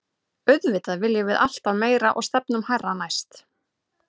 Auðvitað viljum við alltaf meira og stefnum hærra næst.